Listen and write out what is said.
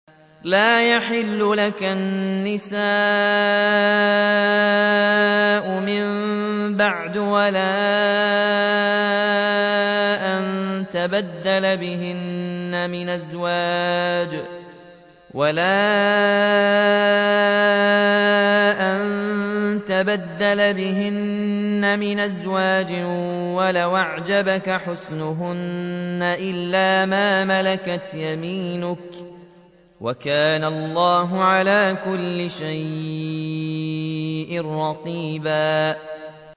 لَّا يَحِلُّ لَكَ النِّسَاءُ مِن بَعْدُ وَلَا أَن تَبَدَّلَ بِهِنَّ مِنْ أَزْوَاجٍ وَلَوْ أَعْجَبَكَ حُسْنُهُنَّ إِلَّا مَا مَلَكَتْ يَمِينُكَ ۗ وَكَانَ اللَّهُ عَلَىٰ كُلِّ شَيْءٍ رَّقِيبًا